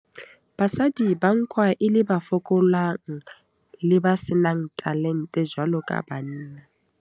Basadi ba nkwa e le ba fokolang, le ba senang talent jwalo ka banna.